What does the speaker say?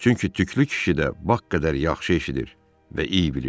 Çünki tüklü kişi də bağ qədər yaxşı eşidir və iy bilirdi.